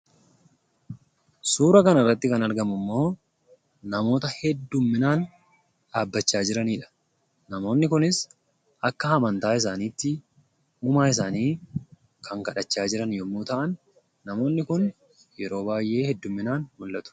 Suura kana irratti kan argamu ammoo namoota baay'ee dhaabachaa jiranidha. Namoonni kunis akka amantaa isaaniitti uumaa isaanii kan kadhachaa jiran yemmuu ta'an, namoonni kun yeroo baay'ee hedduminaan mul'atu.